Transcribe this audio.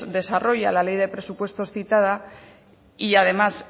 desarrolla la ley de presupuestos citada y además